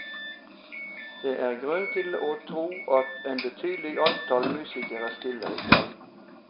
Det er grunn til å tro at et betydelig antall musikere stiller i kveld.